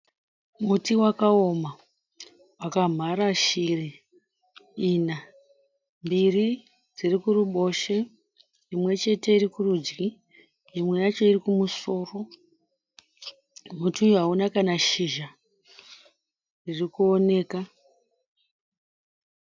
Muti wakaoma wakamhara shiri ina, mbiri dziri dzirikuboshwe imwe chete iri kurudyi imwe yacho iri kumusoro. Muti uyu hauna kana shizha ririkuoneka.